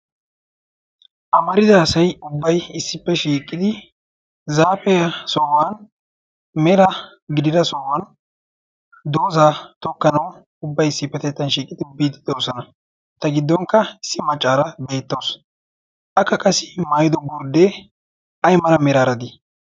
amarida asayi ubbai issippe shiiqqidi zaafea sohuwan mera gidira sohuwan doosaa tokkanawu ubbai issippetettan shiiqidi biidi doosana. ta giddonkka issi maccaara geettawusu. akka qasi maayido gurddee ai mala meraaradii?